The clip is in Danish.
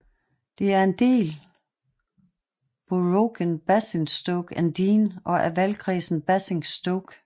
Det er en del boroughen Basingstoke and Deane og af valgkredsen Basingstoke